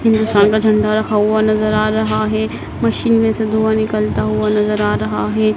हिंदुस्तान का झंडा रखा हुआ नजर आ रहा है मशीन में से धुआँ निकलता हुआ नजर आ रहा है।